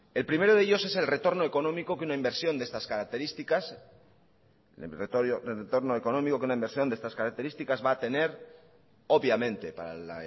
el primero de ellos es el retorno económico que una inversión de estas características va a tener obviamente para el